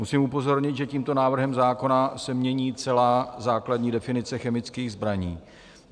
Musím upozornit, že tímto návrhem zákona se mění celá základní definice chemických zbraní.